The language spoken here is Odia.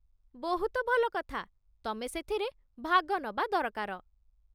ବହୁତ ଭଲ କଥା, ତମେ ସେଥିରେ ଭାଗ ନବା ଦରକାର ।